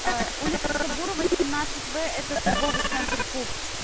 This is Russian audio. улица сабурова семнадцать в этот торговый центр куб